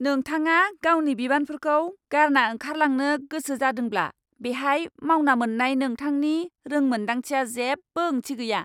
नोंथाङा गावनि बिबानफोरखौ गारना ओंखारलांनो गोसो जादोंब्ला बेहाय मावना मोन्नाय नोंथांनि रोंमोनदांथिआ जेबो ओंथि गैया।